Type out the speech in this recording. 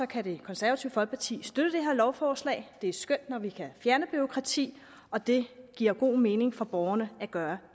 kan det konservative folkeparti støtte det her lovforslag det er skønt når vi kan fjerne bureaukrati og det giver god mening for borgerne at gøre